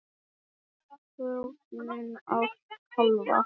Þetta er tognun á kálfa.